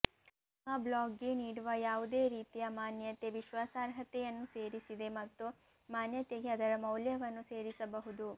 ನಿಮ್ಮ ಬ್ಲಾಗ್ಗೆ ನೀಡುವ ಯಾವುದೇ ರೀತಿಯ ಮಾನ್ಯತೆ ವಿಶ್ವಾಸಾರ್ಹತೆಯನ್ನು ಸೇರಿಸಿದೆ ಮತ್ತು ಮಾನ್ಯತೆಗೆ ಅದರ ಮೌಲ್ಯವನ್ನು ಸೇರಿಸಬಹುದು